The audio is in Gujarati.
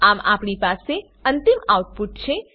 આમ આપણી પાસે અંતિમ આઉટપુટ છે